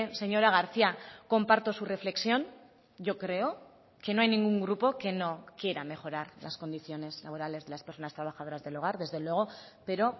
señora garcía comparto su reflexión yo creo que no hay ningún grupo que no quiera mejorar las condiciones laborales de las personas trabajadoras del hogar desde luego pero